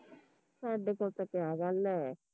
ਸਾਡੇ ਕੋਲ ਤਾਂ ਕਿਆ ਗੱਲ ਆ